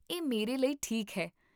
ਇਹ ਮੇਰੇ ਲਈ ਠੀਕ ਹੈ